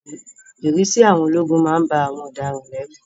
Ìrísí àwọn ológun má ń ba àwọn ọ̀daràn lẹ́rù